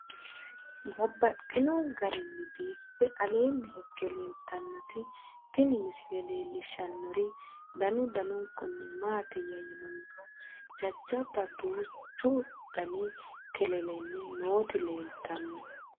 Babaxxittinno garinni biiffe aleenni hige leelittannotti tinni misile lelishshanori danu danunkunni isi maattiya yinummoro jajjabba duuchu danni kelelenni nootti leelittanno